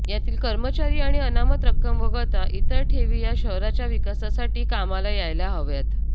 यातील कर्मचारी आणि अनामत रक्कम वगळता इतर ठेवी या शहराच्या विकासासाठी कामाला यायला हव्यात